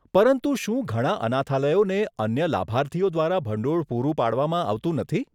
પરંતુ શું ઘણા અનાથાલયોને અન્ય લાભાર્થીઓ દ્વારા ભંડોળ પૂરું પાડવામાં આવતું નથી?